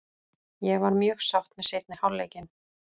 Ég var mjög sátt með seinni hálfleikinn.